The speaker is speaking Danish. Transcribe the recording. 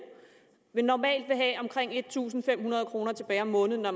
normalt vil have omkring en tusind fem hundrede kroner tilbage om måneden når